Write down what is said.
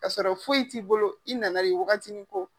K'a sɔrɔ foyi t'i bolo u ti nan'a ye wagati ko